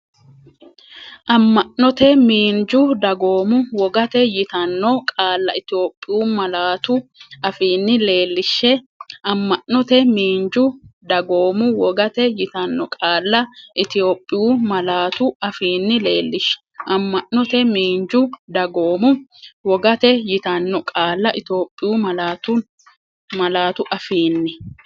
Amma’note, miinju, dagoomu, wogate yitanno qaalla Itophiyu malaatu afiinni leellishshe Amma’note, miinju, dagoomu, wogate yitanno qaalla Itophiyu malaatu afiinni leellishshe Amma’note, miinju, dagoomu, wogate yitanno qaalla Itophiyu malaatu afiinni.